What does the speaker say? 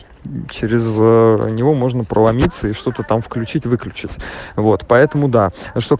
через него можно положиться и что-то там включить выключить вот поэтому да